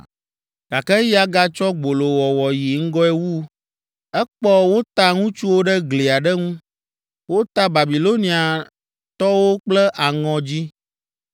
“Gake eya gatsɔ gbolowɔwɔ yi ŋgɔe wu. Ekpɔ wota ŋutsuwo ɖe gli aɖe ŋu. Wota Babiloniatɔwo kple aŋɔ dzĩ,